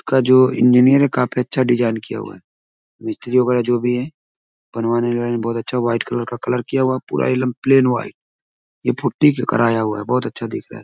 का जो इंजीनियर है काफी अच्छा डिजाईन किया हुआ है। मिस्त्री वगैरह जो भी है बनवाने बहुत अच्छा व्हाइट कलर का कलर किया हुआ। पूरा इकदम प्लेन व्हाइट । ये पूटी का कराया हुआ है। बहुत अच्छा दिख रहा है।